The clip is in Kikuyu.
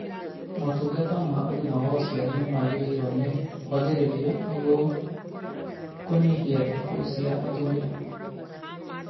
Motungata ma ũgima wa ũciari nĩmagĩrĩirwo nĩ kwagĩrithio nĩguo kũnyihia ikuũ cia atumia